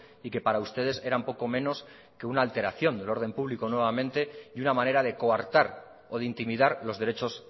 y que para ustedes eran poco menos que una alteración del orden público nuevamente y una manera de coartar o de intimidar los derechos